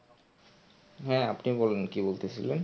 হ্যাঁ আপনি বলুন কি বলতেসিলেন?